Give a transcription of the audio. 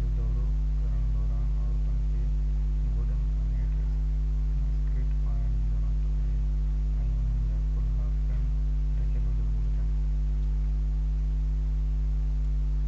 جو دورو ڪرڻ دوران عورتن کي ڳوڏن کان هيٺ اسڪرٽ پائڻ جي ضرورت آهي ۽ انهن جا ڪلها پڻ ڍڪيل هجڻ گهرجن